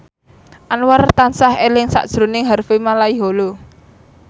Anwar tansah eling sakjroning Harvey Malaiholo